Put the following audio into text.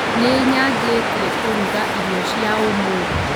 Nĩnyanjĩtie kũruga irio cia ũmũthi